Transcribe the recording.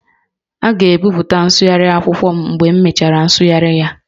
A ga-ebipụta nsụgharị akwụkwọ m mgbe m mechara nsụgharị ya